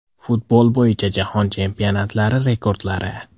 Futbol bo‘yicha jahon chempionatlari rekordlari.